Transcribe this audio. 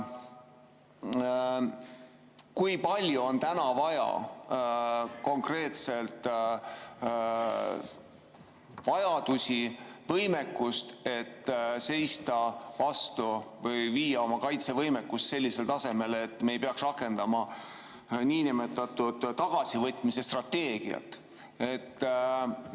Kui palju on täna vaja konkreetselt võimekust, et seista vastu või viia oma kaitsevõimekus sellisele tasemele, et me ei peaks rakendama niinimetatud tagasivõitmise strateegiat?